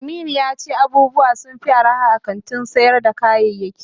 Aminu yace abubuwa sunfi arha a kantin sayar da kayayaki.